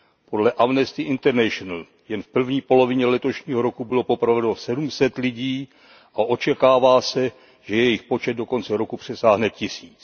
Podle Amnesty International jen v první polovině letošního roku bylo popraveno sedm set lidí a očekává se, že jejich počet do konce roku přesáhne tisíc.